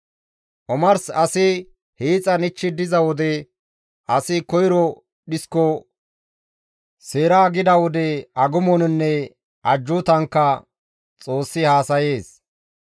Omars asi hiixan ichchi diza wode asi koyro dhisko seeraagida wode; agumoninne ajjuutankka Xoossi haasayees.